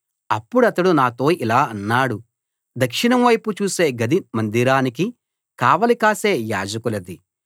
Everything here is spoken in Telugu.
అప్పుడతడు నాతో ఇలా అన్నాడు దక్షిణం వైపు చూసే గది మందిరానికి కావలి కాసే యాజకులది